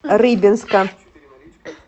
рыбинска